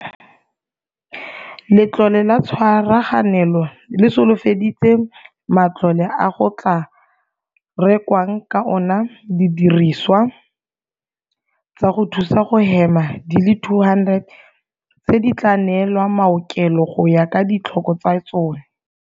Letlole la Tshwaraganelo le solofeditse matlole a go tla rekwang ka ona didirisiwa tsa go thusa go hema di le 200, tseo di tla neelwang maokelo go ya ka ditlhoko tsa tsone.